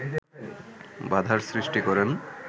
বাধার সৃষ্টি করেন